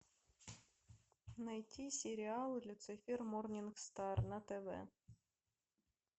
найти сериал люцифер морнингстар на тв